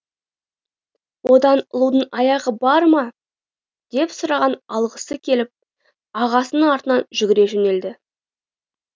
одан ұлудың аяғы бар ма деп сұрап алғысы келіп ағасының артынан жүгіре жөнелді